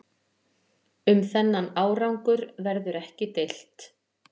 Um þennan árangur verður ekki deilt